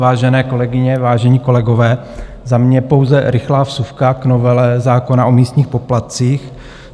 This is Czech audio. Vážené kolegyně, vážení kolegové, za mě pouze rychlá vsuvka k novele zákona o místních poplatcích.